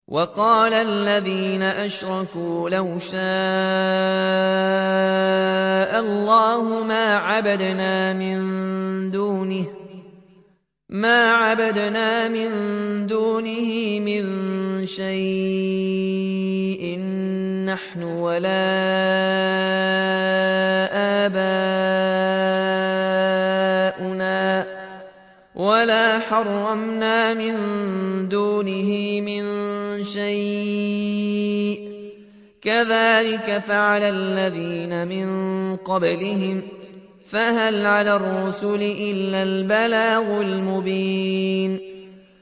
وَقَالَ الَّذِينَ أَشْرَكُوا لَوْ شَاءَ اللَّهُ مَا عَبَدْنَا مِن دُونِهِ مِن شَيْءٍ نَّحْنُ وَلَا آبَاؤُنَا وَلَا حَرَّمْنَا مِن دُونِهِ مِن شَيْءٍ ۚ كَذَٰلِكَ فَعَلَ الَّذِينَ مِن قَبْلِهِمْ ۚ فَهَلْ عَلَى الرُّسُلِ إِلَّا الْبَلَاغُ الْمُبِينُ